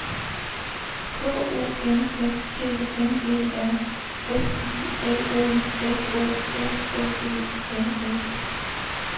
K U N S T N E R F I L O S O F F E N S